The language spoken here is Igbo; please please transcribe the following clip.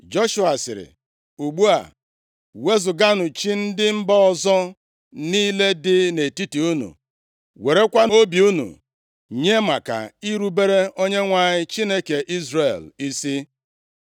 Joshua sịrị, “Ugbu a, wezuganụ chi ndị mba ọzọ niile dị nʼetiti unu. Werekwanụ obi unu nye maka irubere Onyenwe anyị Chineke Izrel isi.”